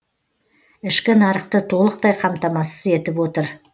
ішкі нарықты толықтай қамтамасыз етіп отыр